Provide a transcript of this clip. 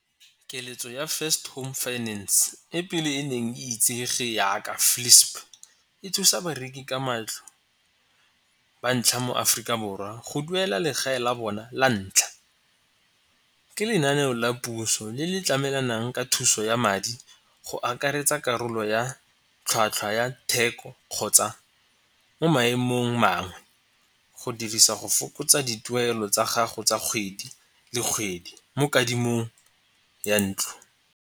Keletso ya First Home Finance e pele e neng e itsege yaka FLISP e thusa bareki ka matlo ba ntlha mo Aforika Borwa go duela legae la bona la ntlha. Ke lenaneo la puso le le tlamelanang ka thuso ya madi go akaretsa karolo ya tlhwatlhwa ya theko kgotsa mo maemong mangwe go dirisa go fokotsa dituelo tsa gago tsa kgwedi le kgwedi mo kadimo ya ntlo.